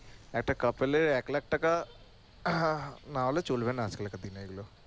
একটা couple এর এক লাখ টাকা না হলে চলবে না আজকালকার দিনে এগুলো